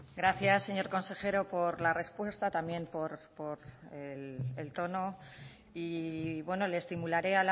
gracias señor consejero por la respuesta también por el tono y bueno le estimularé